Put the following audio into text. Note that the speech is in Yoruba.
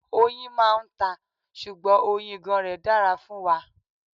Oyin máa ń ta, ṣùgbọ́n oyin ìgàn rẹ dára fún wa.